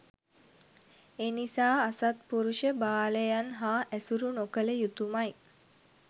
එනිසා අසත්පුරුෂ බාලයන් හා ඇසුරු නොකළ යුතුමයි